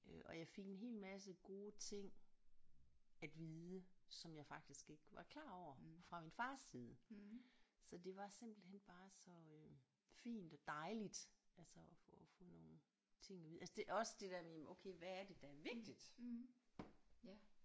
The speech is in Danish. Øh og jeg fik en hel masse gode ting at vide som jeg faktisk ikke var klar over fra min fars side så det var simpelthen bare så øh fint og dejligt altså at få få nogle ting at vide altså også det der med okay hvad er det der er vigtigt